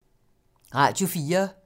Radio 4